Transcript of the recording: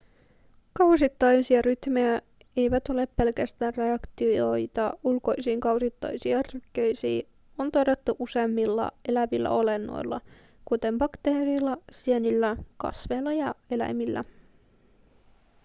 kausittaisia rytmejä jotka eivät ole pelkästään reaktioita ulkoisiin kausittaisiin ärsykkeisiin on todettu useimmilla elävillä olennoilla kuten bakteereilla sienillä kasveilla ja eläimillä